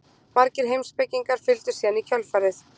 Margir heimspekingar fylgdu síðan í kjölfarið.